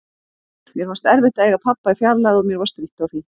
Mér fannst erfitt að eiga pabba í fjarlægð og mér var strítt á því.